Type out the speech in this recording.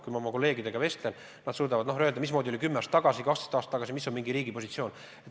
Kui ma oma kolleegidega vestlen, siis nad suudavad öelda, missugune oli 10 aastat tagasi või 12 aastat tagasi mingi riigi positsioon.